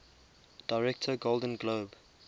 director golden globe